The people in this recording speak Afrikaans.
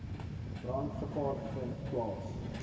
brandgevaar vind plaas